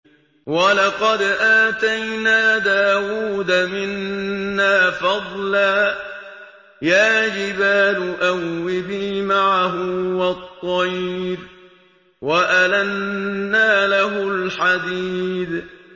۞ وَلَقَدْ آتَيْنَا دَاوُودَ مِنَّا فَضْلًا ۖ يَا جِبَالُ أَوِّبِي مَعَهُ وَالطَّيْرَ ۖ وَأَلَنَّا لَهُ الْحَدِيدَ